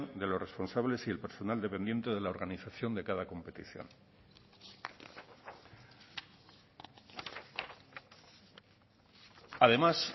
de los responsables y el personal dependiente de la organización de cada competición además